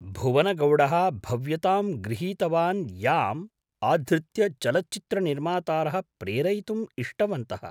भुवनगौडः भव्यतां गृहीतवान् याम् आधृत्य चलच्चित्रनिर्मातारः प्रेरयितुम् इष्टवन्तः।